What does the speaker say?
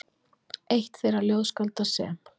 Eitt þeirra ljóðskálda sem